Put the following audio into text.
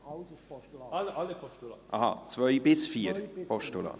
Ach so, die Punkte 2 bis 4 als Postulat.